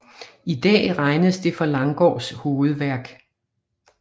I dag regnes det for Langgaards hovedværk